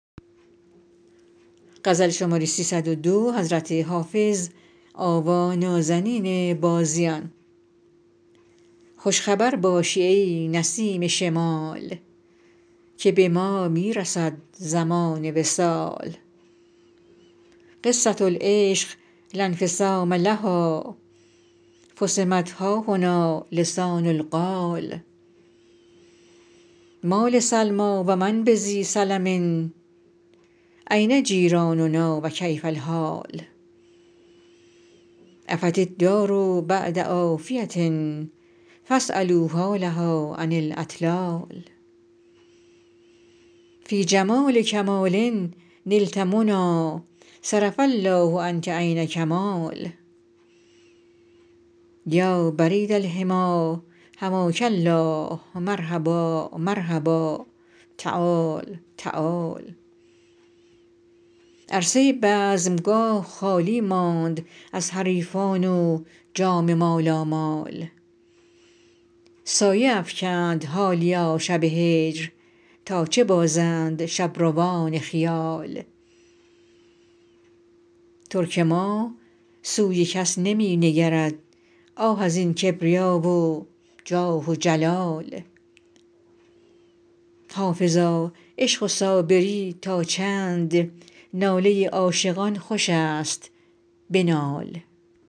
خوش خبر باشی ای نسیم شمال که به ما می رسد زمان وصال قصة العشق لا انفصام لها فصمت ها هنا لسان القال ما لسلمی و من بذی سلم أین جیراننا و کیف الحال عفت الدار بعد عافیة فاسألوا حالها عن الاطلال فی جمال الکمال نلت منی صرف الله عنک عین کمال یا برید الحمی حماک الله مرحبا مرحبا تعال تعال عرصه بزمگاه خالی ماند از حریفان و جام مالامال سایه افکند حالیا شب هجر تا چه بازند شبروان خیال ترک ما سوی کس نمی نگرد آه از این کبریا و جاه و جلال حافظا عشق و صابری تا چند ناله عاشقان خوش است بنال